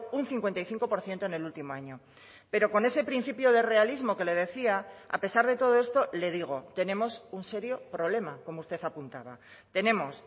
un cincuenta y cinco por ciento en el último año pero con ese principio de realismo que le decía a pesar de todo esto le digo tenemos un serio problema como usted apuntaba tenemos